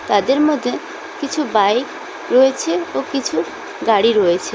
তাদের মধ্যে কিছু বাইক রয়েছে ও কিছু গাড়ি রয়েছে।